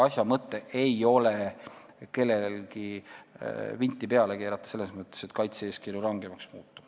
Asja mõte ei ole kellelegi vinti peale keerata selles mõttes, et kaitse-eeskirju rangemaks muuta.